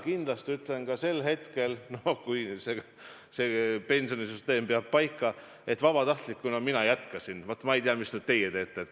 Kui me tahame tulevikus saada suuremaks, siis IT-ühendustele, maanteeühendustele ja lennuühendustele lisaks on üks ühendus, mille puhul minu kirg teile ilmselt üllatusena ei tule, see on Tallinna–Helsingi tunnel.